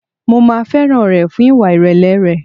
Mo máa fẹ́ràn rẹ̀ fún ìwà ìrẹ̀lẹ̀ rẹ̀.